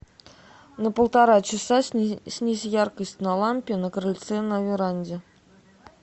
на полтора часа снизь яркость на лампе на крыльце на веранде